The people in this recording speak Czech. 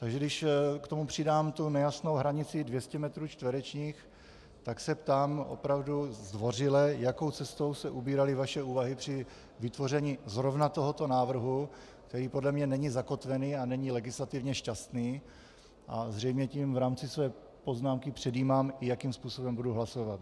Takže když k tomu přidám tu nejasnou hranici 200 metrů čtverečních, tak se ptám opravdu zdvořile, jakou cestou se ubíraly vaše úvahy při vytvoření zrovna tohoto návrhu, který podle mě není zakotvený a není legislativně šťastný, a zřejmě tím v rámci své poznámky předjímám, i jakým způsobem budu hlasovat.